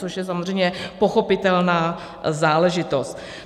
Což je samozřejmě pochopitelná záležitost.